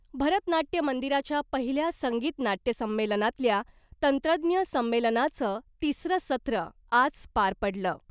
भरत नाट्य मंदिराच्या पहिल्या संगीत नाट्य संमेलनातल्या 'तंत्रज्ञ संमेलना'चं तिसरं सत्र आज पार पडलं .